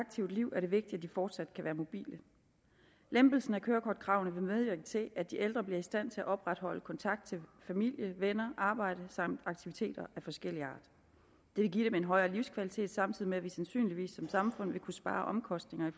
aktivt liv er det vigtigt at de fortsat kan være mobile lempelsen af kørekortkravene vil medvirke til at de ældre bliver i stand til at opretholde kontakten familie venner og arbejde samt deltage aktiviteter af forskellig art det vil give dem en højere livskvalitet samtidig med at vi sandsynligvis som samfund vil kunne spare omkostninger i